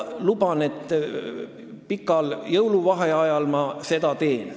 Luban, et pikal jõuluvaheajal ma seda teen.